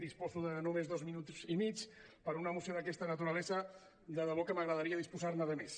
disposo de només dos minuts i mig per a una moció d’aquesta naturalesa de debò que m’agradaria disposar ne de més